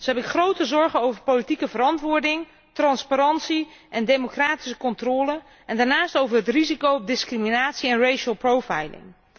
Zo heb ik grote zorgen over politieke verantwoording, transparantie en democratische controle, en daarnaast over het risico op discriminatie en racial profiling